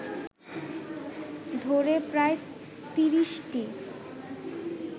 ধরে প্রায় তিরিশটি